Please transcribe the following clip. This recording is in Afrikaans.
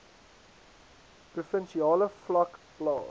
provinsiale vlak plaas